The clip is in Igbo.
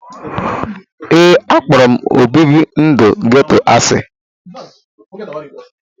Ee, akpọrọ obibi ndụ geto asị.